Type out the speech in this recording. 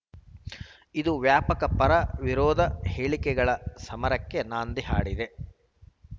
ಇದು ವ್ಯಾಪಕ ಪರವಿರೋಧ ಹೇಳಿಕೆಗಳ ಸಮರಕ್ಕೆ ನಾಂದಿ ಹಾಡಿದೆ